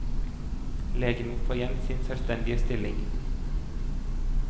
Legen må få igjen sin selvstendige stilling.